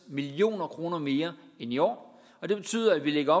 million kroner mere end i år og det betyder at vi lægger